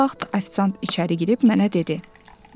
Və bu vaxt ofisiant içəri girib mənə dedi.